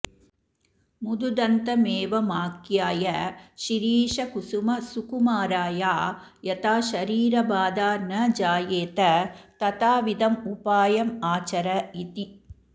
मदुदन्तमेवमाख्याय शिरीषकुसुमसुकुमाराया यथा शरीरबाधा न जायेत तथाविधमुपायमाचरऽ इति